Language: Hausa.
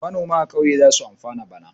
Manoma a ƙauye za su amfana bana.